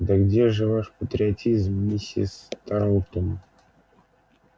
да где же ваш патриотизм миссис тарлтон